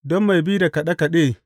Don mai bi da kaɗe kaɗe.